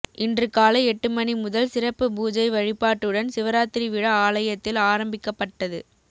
இன்றுகாலை எட்டு மணி முதல் சிறப்பு பூஜை வழிபாட்டுடன் சிவராத்திரி விழா ஆலயத்தில் ஆரம்பிக்கப்பட்டது